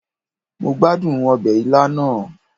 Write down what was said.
Mo gbadun obe ila naa